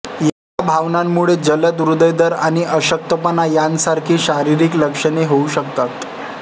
या भावनांमुळे जलद हृदय दर आणि अशक्तपणा यांसारखी शारीरिक लक्षणे होऊ शकतात